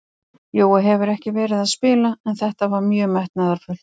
Jói hefur ekki verið að spila en þetta var mjög metnaðarfullt.